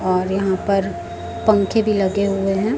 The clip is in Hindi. और यहां पर पंखे भी लगे हुए है।